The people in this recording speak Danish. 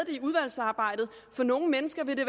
for nogle mennesker vil det